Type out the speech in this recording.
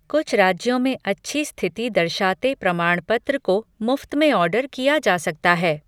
कुछ राज्यों में अच्छी स्थिति दर्शाते प्रमाण पत्र को मुफ्त में ऑर्डर किया जा सकता है।